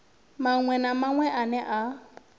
maṅwe na maṅwe ane a